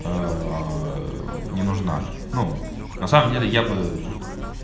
не нужна ну на самом деле я бы